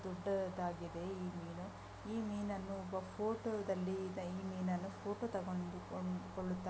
ಅಷ್ಟು ದೊಡ್ಡದಾಗಿದೆ ಈ ಮೀನು ಈ ಮೀನನ್ನು ಫೋಟೊದಲ್ಲಿ ಈ ಮೀನನ್ನು ಫೊಟೊ ತಗೊಂಡು ಕೋ ಕೊಳ್ಳುತ್ತಾ--